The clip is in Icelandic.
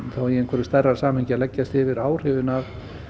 í stærra samhengi að leggjast yfir áhrifin af